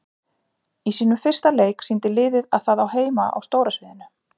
Í sínum fyrsta leik sýndi liðið að það á heima á stóra sviðinu.